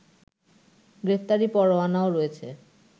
গ্রেপ্তারি পরোয়ানাও রয়েছে